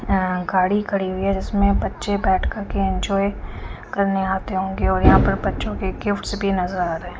अ गाड़ी खड़ी हुई है जिसमें बच्चे बैठ करके एन्जॉय करने आते होंगे और यहाँ पे बच्चों के गिफ्ट्स भी नज़र आ रहे हैं।